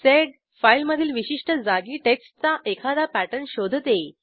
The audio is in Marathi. सेड फाईलमधील विशिष्ट जागी टेक्स्टचा एखादा पॅटर्न शोधते